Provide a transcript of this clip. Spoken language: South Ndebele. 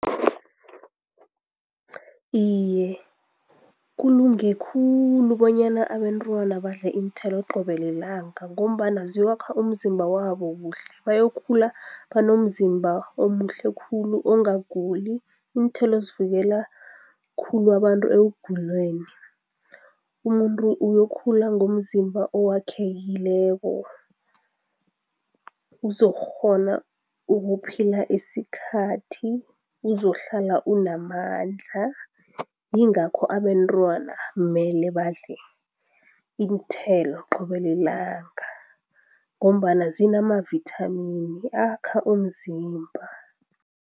Iye, kulunge khulu bonyana abentwana badle iinthelo qobe lilanga ngombana ziwakha umzimba wabo kuhle, bayokukhula banomzimba omuhle khulu ongaguli, iinthelo zivikela khulu abantu ekuguleni. Umuntu uyokhula ngomzimba owakhekekileko, uzokukghona ukuphila esikhathi, uzohlala unamandla, yingakho abentwana mele badle iinthelo qobe lilanga ngombana zinamavithamini akha umzimba.